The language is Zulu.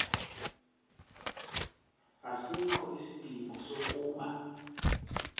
asikho isidingo sokuba